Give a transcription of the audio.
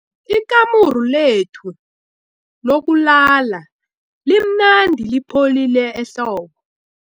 Ikamuru lethu lokulala limnandi lipholile ehlobo.